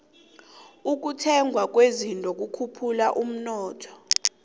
ukuthengwa kwezinto kukhuphula umnotho